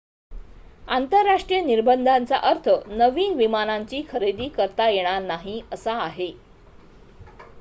आंतरराष्ट्रीय निर्बंधांचा अर्थ नवीन विमानांची खरेदी करता येणार नाही असा आहे